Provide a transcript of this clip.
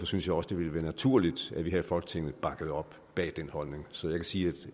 synes jeg også det ville være naturligt at vi her i folketinget bakkede op bag den holdning så jeg kan sige